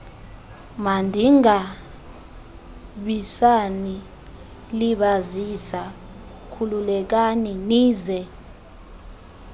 mandingabisanilibazisa khululekani nize